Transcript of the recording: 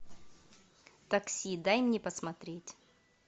такси дай мне посмотреть